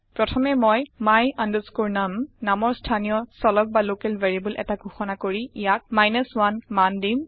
প্ৰথমে মই my num নামৰ স্থানীয় চলক বা লকেল ভেৰিয়েবল এটা ঘোষণা কৰি ইয়াক 1 মান দিম